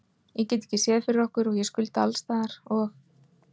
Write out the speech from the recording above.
Ég get ekki séð fyrir okkur og ég skulda alls staðar og.